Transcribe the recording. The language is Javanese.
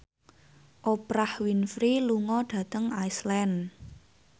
Oprah Winfrey lunga dhateng Iceland